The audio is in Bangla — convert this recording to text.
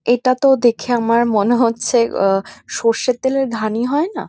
এটা তো দেখে আমার মনে হচ্ছে ও সর্ষের তেলের ঘানি হয় না।